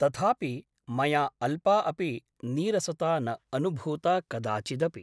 तथापि मया अल्पा अपि नीरसता न अनुभूता कदाचिदपि ।